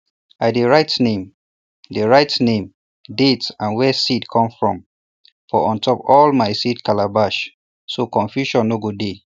i dey write name dey write name date and where seed come from for untop all my seed calabash so confusion no go dey